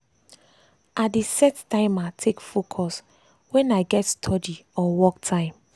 i dey set timer take focus wen i get study study or work time.